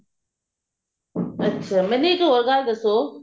ਅੱਛਿਆ ਮੈਨੂੰ ਇੱਕ ਹੋਰ ਗੱਲ ਦੱਸੋ